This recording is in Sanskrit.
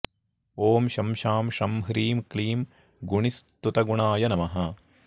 ॐ शं शां षं ह्रीं क्लीं गुणिस्तुतगुणाय नमः